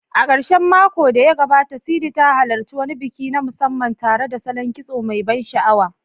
A karshen makon da ya gabata, Sidi ta halarci wani biki na musamman tare da salon kitso mai ban sha'awa.